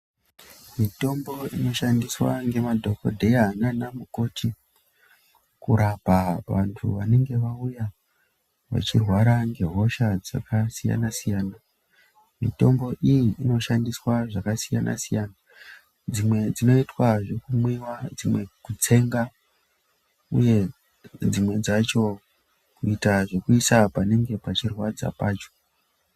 Mitombo inoshandiswa ngemadhokodheya nana mukoti kurapa vantu vanenge vauya vachirwara ngehosha dzakasiyana siyana. Mitombo iyi inoshandiswa zvakasiyana siyana. Dzimwe dzinoitwa zvekumwiwa, dzimwe kutsenga uye dzimwe dzacho kuita zvekuisa panenge pachirwadza pacho.